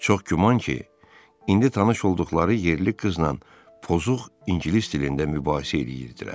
Çox güman ki, indi tanış olduqları yerli qızla pozuq ingilis dilində mübahisə eləyirdilər.